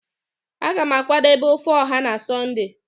a ga m akwadebe ofe oha na sunday